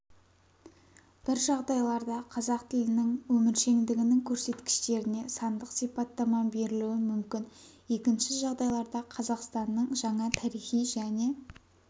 бір жағдайларда қазақ тілінің өміршеңдігінің көрсеткіштеріне сандық сипаттама берілуі мүмкін екінші жағдайларда қазақстанның жаңа тарихи және